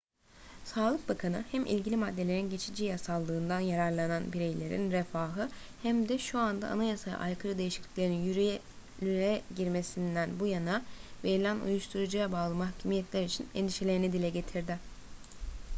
sağlık bakanı hem ilgili maddelerin geçici yasallığından yararlanan bireylerin refahı hem de şu anda anayasaya aykırı değişikliklerin yürürlüğe girmesinden bu yana verilen uyuşturucuya bağlı mahkumiyetler için endişelerini dile getirdi